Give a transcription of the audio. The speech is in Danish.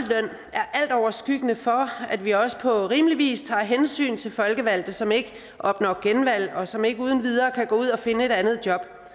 er altoverskyggende for at vi også på rimelig vis tager hensyn til folkevalgte som ikke opnår genvalg og som ikke uden videre kan gå ud og finde et andet job